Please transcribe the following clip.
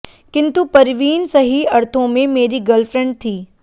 किन्तु परवीन सही अर्थों में मेरी गर्लफ्रैंड थी